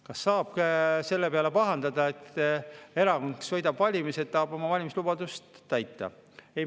Kas saab selle peale pahandada, et erakond, kes võidab valimised, tahab oma valimislubadust täita?